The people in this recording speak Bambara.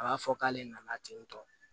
A b'a fɔ k'ale nana ten tɔ